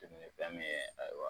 Fɛn min ye ayiwa